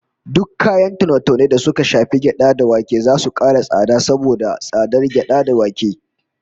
Duk kayan taune-taune da suka shafi gyada da wake zasu kara tsada saboda tsadar gyada da wake